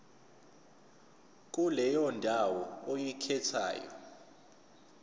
kuleyo ndawo oyikhethayo